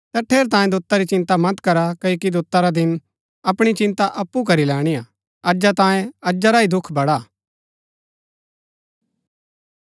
ता ठेरैतांये दोता री चिन्ता मत करा क्ओकि दोता रा दिन अपणी चिन्ता अप्पु करी लैणीआ अजा तांयें अजा रा ही दुख बड़ा